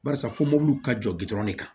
Barisa fɔ mɔbiliw ka jɔ gɔ ne kan